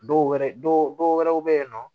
Dɔw wɛrɛ dɔw wɛrɛw bɛ yen nɔ